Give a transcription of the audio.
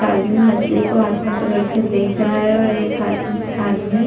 आदमी मछली को हाथ में पकड़ कर देख रहा है और एक आद- आदमी --